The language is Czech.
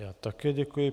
Já také děkuji.